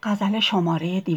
ز لعلت